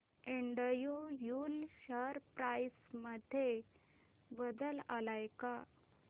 Andrew Yule share price मध्ये बदल आलाय का